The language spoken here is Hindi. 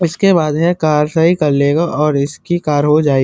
उसके बाद में कार सही कर लेगा और इसकी कार हो जाये --